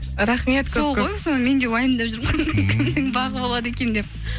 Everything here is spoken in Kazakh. рахмет соны мен де уайымдап жүрмін кімнің бағы болады екен деп